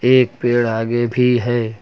एक पेड़ आगे भी है।